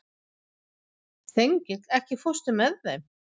Þengill, ekki fórstu með þeim?